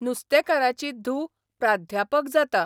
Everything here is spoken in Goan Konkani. नुस्तेकाराची धूव प्राध्यापक जाता.